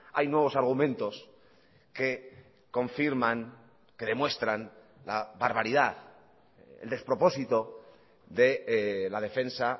hay nuevos argumentos que confirman que demuestran la barbaridad el despropósito de la defensa